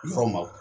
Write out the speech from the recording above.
Yɔrɔ ma